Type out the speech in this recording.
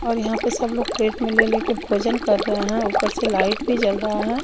और यहाँ पे सब लोग प्लेट में ले ले के भोजन कर रहे है ऊपर से लाईट भी जल रहा है।